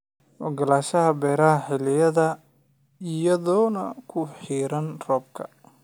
Oggolaanshaha beerashada xilli-xilliyeedka iyadoon ku xiran roobka.